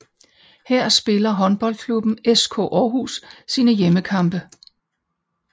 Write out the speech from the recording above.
Her spiller håndboldklubben SK Aarhus sine hjemmekampe